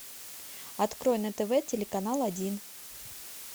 открой на тв телеканал один